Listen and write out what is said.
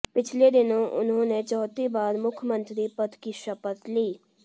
पिछले दिनों उन्होंने चौथी बार मुख्यमंत्री पद की शपथ ली